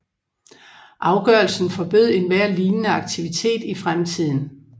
Afgørelsen forbød enhver lignende aktivitet i fremtiden